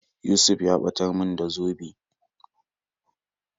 Yusuf ya ɓatar mun da zobe